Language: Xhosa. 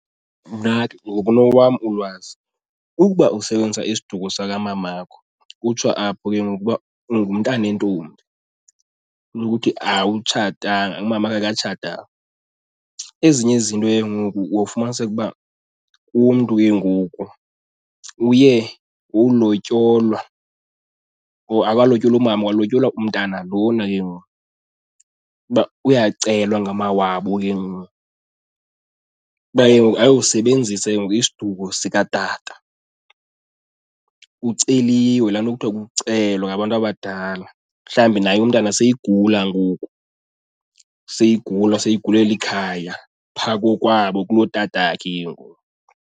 Mna ke ngokunokwam ulwazi ukuba usebenzisa isiduko sakamamakho kutsho apho ke ngoku uba ungumntane ntombi, unokuthi awutshatanga umamakhe akatshatanga. Ezinye izinto ke ngoku wofumaniseke uba umntu ke ngoku uye wowulotyolwa or akalotyolwa umama kwalotyolwa umntana lona ke ngoku uba uyacelwa ngamawabo ke ngoku kuba ke ngoku ayosebenzisa ke ngoku isiduko sikatata, kuceliwe. Laa nto kuthiwa kukucela ngabantu abadala, mhlawumbi naye umntana seyigula ngoku seyigula, seyigulela ikhaya phaa kokwabo kulotatakhe ke ngoku.